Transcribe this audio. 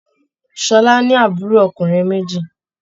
Ṣọlá ní àbúrò ọkùnrin méjì.